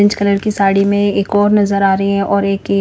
orange colour की साड़ी में एक और नजर आ रहे है और एक ए--